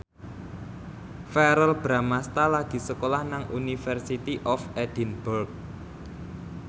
Verrell Bramastra lagi sekolah nang University of Edinburgh